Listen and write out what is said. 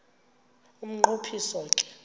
umnqo phiso ke